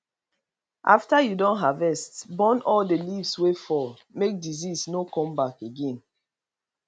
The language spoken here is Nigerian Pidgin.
after you don harvest burn all the leaves wey fall make disease no come back again